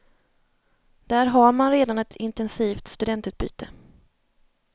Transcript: Där har man redan ett intensivt studentutbyte.